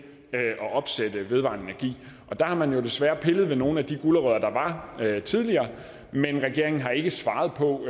at opsætte vedvarende energi og der har man jo desværre pillet ved nogle af de gulerødder der var tidligere men regeringen har ikke svaret på